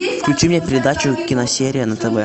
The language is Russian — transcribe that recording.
включи мне передачу киносерия на тв